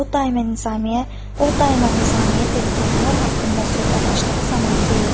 O daima Nizami-yə dedikləri haqqında söhbət açdığı zaman deyirdi: